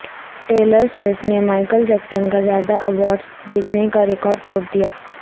tailor Swift نے Michael Jackson کا زیادہ ایوارڈز جیتنے کا ریکارڈ توڑ دیا